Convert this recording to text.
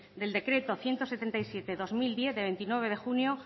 del decreto ciento setenta y siete barra dos mil diez del veintinueve de junio